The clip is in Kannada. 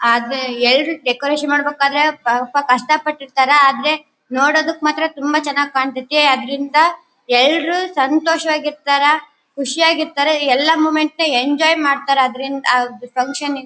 ಆದ್ರೆ ಎರಡ್ ಡೆಕೋರೇಷನ್ ಮಾಡ್ಬೇಕಾದ್ರೆ ಸ್ವಲ್ಪ ಕಷ್ಟ ಪಟ್ಟಿರ್ತಾರೆ ಆದ್ರೆ ನೋಡೋದಕ್ ಮಾತ್ರ ತುಂಬಾ ಚನಾಗ್ ಕಾಣ್ತಾತ್ತೆ ಅದ್ರಿಂದ ಎಲ್ರು ಸಂತೋಷವಾಗಿ ಇರ್ತರ ಖುಷಿ ಆಗ್ ಇರ್ತಾರ ಎಲ್ಲಾ ಮೂಮೆಂಟ್ ನ ಎಂಜಾಯ್ ಮಾಡ್ತಾರೆ ಅದ್ರಿಂದ ಆ ಫಂಕ್ಷನ್ ಯಿ --